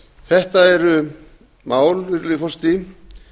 þetta eru mál virðulegi forseti